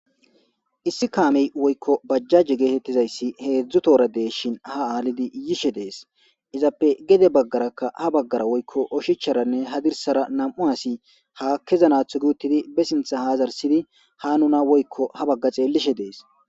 issi kaamey woykko bajjaje geetettizayssi heedzdzu toora deeshin ha aalidi yishe dees izappe gede baggarakka ha baggara woykko oshicharanne ha dirsara nam'u asi ha kezanatho guuttidi be sintha ha zarsidi ha nuna woykko ha bagga xeellishe dees